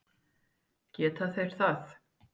Geta þeir það?